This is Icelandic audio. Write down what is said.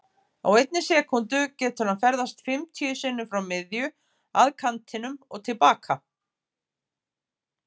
Á einni sekúndu getur hann ferðast fimmtíu sinnum frá miðju, að kantinum og til baka.